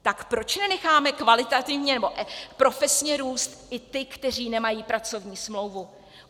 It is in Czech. Tak proč nenecháme kvalitativně, nebo profesně růst i ty, kteří nemají pracovní smlouvu?